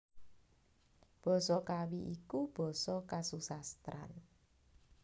Basa Kawi iku basa kasusastran